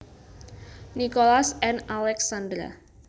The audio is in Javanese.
Nicholas and Alexandra